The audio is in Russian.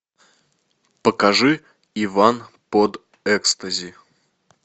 покажи иван под экстази